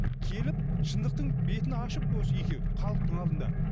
келіп шындықтың бетін ашып осы екеуі халықтың алдында